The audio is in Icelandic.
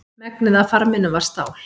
Megnið af farminum var stál.